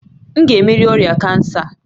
M ga-emeri ọrịa kansa a?